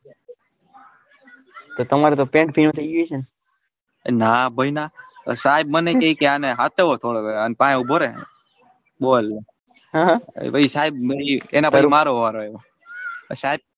તે તામર તો પેન્ટ પીળું થઇ ગયું હશે ને ના ભાઈ ના સાહેબ મને કે આને હાચવ થોડો અને ફાય ઉભોરે બોલ પછી સાહેબ અને એના પછી મારો વારો આયવો સાહેબ.